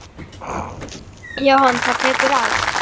Jóhann: Það tekur á?